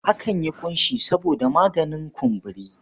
Akan yi ƙunshi saboda maganin kumburi.